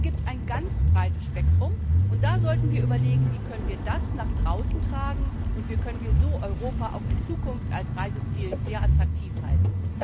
Also, es gibt ein ganz breites Spektrum, und da sollten wir überlegen Wie können wir das nach draußen tragen, und wie können wir Europa so auch in Zukunft als Reiseziel sehr attraktiv halten?